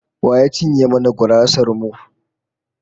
Wa ya cinye mana gurasar mu?